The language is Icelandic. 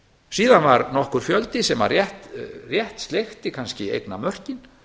síðan var nokkur fjöldi sem að rétt sleikti kannski eignamörkin